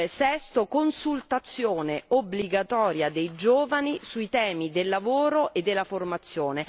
Sesto consultazione obbligatoria dei giovani sui temi del lavoro e della formazione.